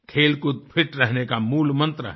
खेलकूद फिट रहने का मूल मंत्र है